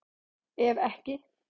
Ef ekki